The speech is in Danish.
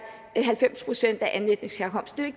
halvfems procent af anden etnisk herkomst det